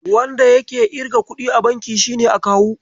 Wanda yake irga kuɗi a banki shine Akawu.